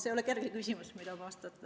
See ei ole kerge küsimus, millele vastata.